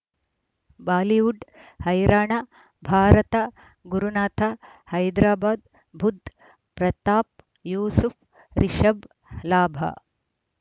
Bollywood ಹೈರಾಣ ಭಾರತ ಗುರುನಾಥ ಹೈದರಾಬಾದ್ ಬುಧ್ ಪ್ರತಾಪ್ ಯೂಸುಫ್ ರಿಷಬ್ ಲಾಭ